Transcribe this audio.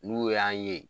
N'u y'an ye